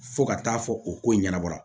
Fo ka taa fɔ o ko ɲɛnabɔ